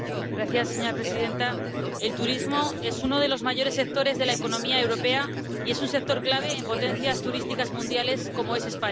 Señora presidenta, el turismo es uno de los mayores sectores de la economía europea y es un sector clave en potencias turísticas mundiales, como es España.